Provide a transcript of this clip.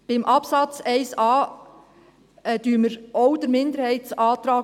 Bei Absatz 1a unterstützen wir auch den Minderheitsantrag.